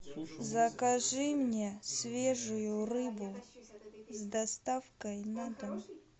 закажи мне свежую рыбу с доставкой на дом